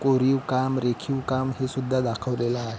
कोरीव काम रेखीव काम हे सुद्धा दाखवलेल आहे.